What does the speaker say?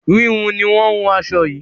híhun ni wọn hun aṣọ yìí